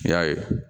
N y'a ye